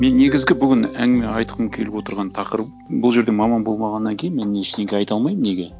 мен негізгі бүгін әңгіме айтқым келіп отырған тақырып бұл жерде маман болмағаннан кейін мен ештеңе айта алмаймын неге